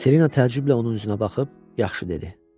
Selina təəccüblə onun üzünə baxıb yaxşı dedi.